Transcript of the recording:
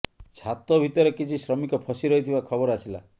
ଛାତ ଭିତରେ କିଛି ଶ୍ରମିକ ଫସି ରହିଥିବା ଖବର ଆସିଲା